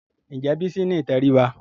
Ǹjẹ́ Bísí ní ìtẹríba?